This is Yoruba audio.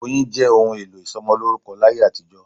Oyin jẹ́ òun èlò ìsomolórúkọ láyé àtijó